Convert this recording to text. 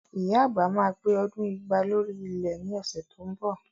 Ìyá àgbà máa pé ọdún igba lórí ilẹ̀ ni ọ̀sẹ̀ tó ń bọ̀